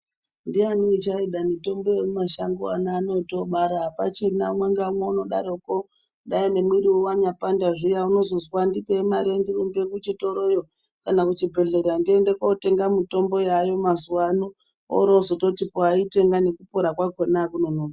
Ndiani uchaida mitombo yemu mashango ana oto bara apachina umwe nga umwe uno daroko dai ne mwiriwo wanya panda zviya unozozwa ndipei mare ndirumbe ku chitoroyo kana ku chibhedhlera ndiende kotenga mutombo yayo mazuva ano ori ozoti po ayi tenga neku pora kwakona akunonoki.